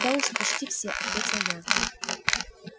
да уже почти все ответил я